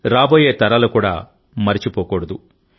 రాబోయే తరాలు కూడా మరిచిపోకూడదు